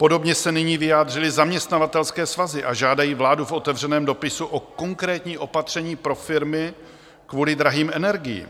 Podobně se nyní vyjádřily zaměstnavatelské svazy a žádají vládu v otevřeném dopisu o konkrétní opatření pro firmy kvůli drahým energiím.